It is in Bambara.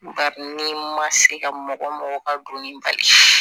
Bari ni ma se ka mɔgɔ mɔgɔ ka doni bali